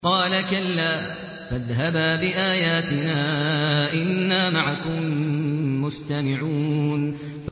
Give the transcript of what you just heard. قَالَ كَلَّا ۖ فَاذْهَبَا بِآيَاتِنَا ۖ إِنَّا مَعَكُم مُّسْتَمِعُونَ